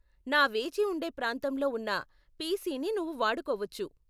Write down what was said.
నా వేచిఉండే ప్రాంతంలో ఉన్న పిసిని నువ్వు వాడుకోవచ్చు.